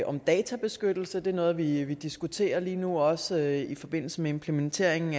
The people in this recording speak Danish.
om databeskyttelse det er noget vi vi diskuterer lige nu også i forbindelse med implementeringen